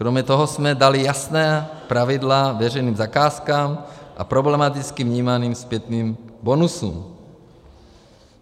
Kromě toho jsme dali jasná pravidla veřejným zakázkám a problematicky vnímaným zpětným bonusům.